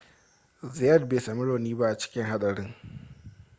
zayat bai sami rauni ba a cikin haɗarin